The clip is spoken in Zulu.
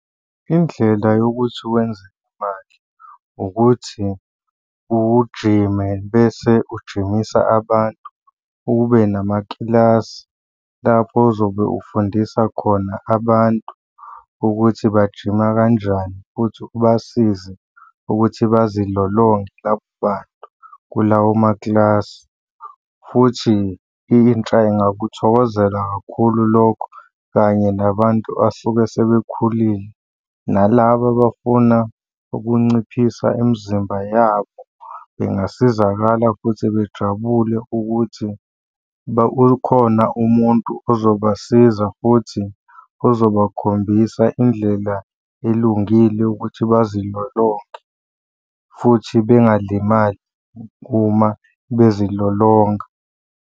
Indlela yokuthi wenze imali, ukuthi ujime bese ujimisa abantu ube namakilasi lapho ozobe ufundisa khona abantu ukuthi bajima kanjani futhi ubasize ukuthi bazilolonge labo bantu kulawo makilasi, futhi intsha ingakuthokozela kakhulu lokho kanye nabantu asuke sebekhulile. Nalaba abafuna ukunciphisa imizimba yabo bengasizakala futhi bejabule ukuthi ukhona umuntu ozobasiza futhi ozobakhombisa indlela elungile ukuthi bazilolonge, futhi bengalimali uma bezilolonga.